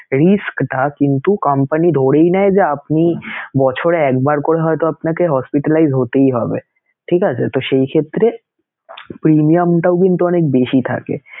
risk ধাপ কিন্তু company ধরেই নেয় যে আপনি বছরে একবার করে হয়তো আপনাকে hospitalize হতেই হবে, ঠিক আছেতো সেইক্ষেত্রে premium টাও কিন্তু অনেক বেশি থাকে